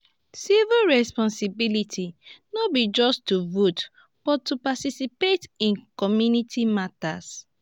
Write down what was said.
civic responsibility no be just to vote but to participate in community matters.